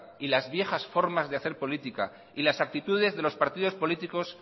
y las viejas formas de hacer políticas y las aptitudes de los partidos políticos